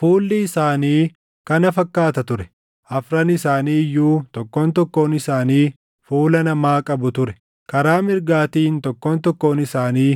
Fuulli isaanii kana fakkaata ture: Afran isaanii iyyuu tokkoon tokkoon isaanii fuula namaa qabu ture; karaa mirgaatiin tokkoon tokkoon isaanii